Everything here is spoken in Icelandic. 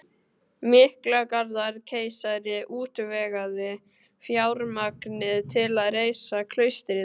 Miklagarðskeisari útvegaði fjármagnið til að reisa klaustrið